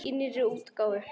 Í nýrri útgáfu!